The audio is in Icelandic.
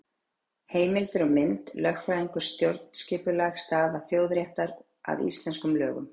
Heimildir og mynd: Lögfræðingur- Stjórnskipuleg staða þjóðaréttar að íslenskum lögum.